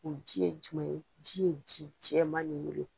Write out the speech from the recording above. O ji ye jumɛn ye, ji ye ji jɛman nin wele.